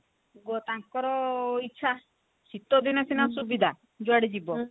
ତାଙ୍କର ଇଚ୍ଛା ଶୀତଦିନେ ସିନା ସୁବିଧା ଯୁଆଡେ ଯିବ